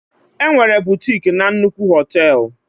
Enwere bụtịk na nnukwu họtel.